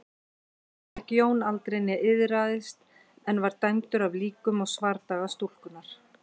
Meðgekk Jón aldrei né iðraðist en var dæmdur af líkum og svardaga stúlkunnar.